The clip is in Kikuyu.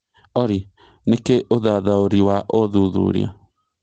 olly nĩkĩ ũthathaũri wa ũthũthuria